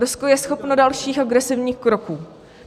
Rusko je schopno dalších agresivních kroků.